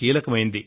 కీలక పాత్ర వహించారు